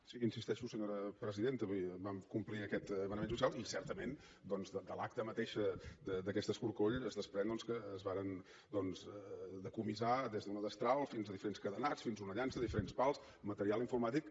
sí hi insisteixo senyora presidenta vull dir vam complir aquest manament judicial i certament doncs de l’acta mateixa d’aquest escorcoll es desprèn que es varen decomissar des d’una destral fins a diferents cadenats fins a una llança diferents pals material informàtic